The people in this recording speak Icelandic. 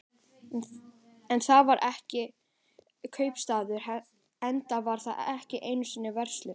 En þar var ekki kaupstaður, enda var þar ekki einu sinni verslun.